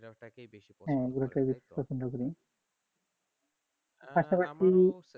ঘোরা টাকে বেশি পছন্দ করেন আহ ঘোরাটা বেশি পছন্দ করি পাশাপাশি